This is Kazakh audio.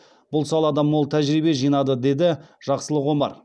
бұл салада мол тәжірибе жинады деді жақсылық омар